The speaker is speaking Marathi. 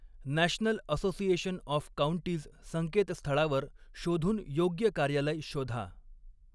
नॅशनल असोसिएशन ऑफ काउंटीज संकेतस्थळावर शोधून योग्य कार्यालय शोधा.